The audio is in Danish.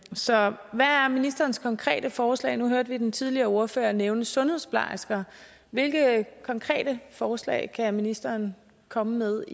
så hvad er ministerens konkrete forslag nu hørte vi den tidligere ordfører nævnte sundhedsplejersker hvilke konkrete forslag kan ministeren komme med